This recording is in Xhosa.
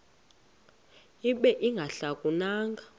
ibe ingahluka nanga